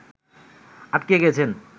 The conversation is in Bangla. আটকে গেছেন